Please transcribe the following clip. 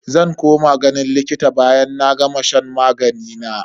Zan koma ganin likita bayan na gama shan magani na.